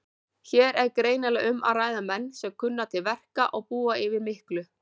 Hér er greinilega um að ræða menn sem kunna til verka og búa yfir miklu.